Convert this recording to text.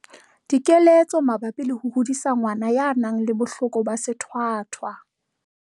Dikeletso mabapi le ho hodisa ngwana ya nang le bohloko ba sethwathwa.